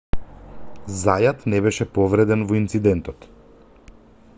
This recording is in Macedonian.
зајат не беше повреден во инцидентот